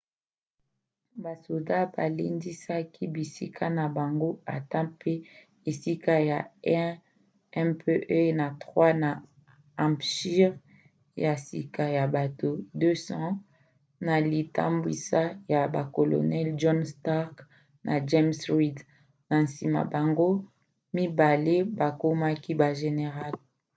basoda balendisaki bisika na bango ata mpe esika ya 1 mpe ya 3 na hampshire ya sika ya bato 200 na litambwisi ya bacolonels john stark na james reed na nsima bango mibale bakomaki bagénéral